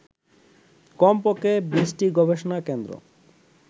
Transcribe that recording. কমপক্ষে ২০টি গবেষণাকেন্দ্র